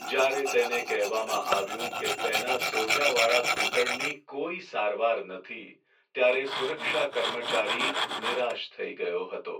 જ્યારે તેને કહેવામાં આવ્યું કે તેના સોજાવાળા ઘૂંટણની કોઈ સારવાર નથી ત્યારે સુરક્ષા કર્મચારી નિરાશ થઈ ગયો હતો.